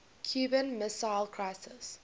cuban missile crisis